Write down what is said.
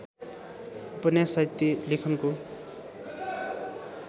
उपन्यास साहित्य लेखनको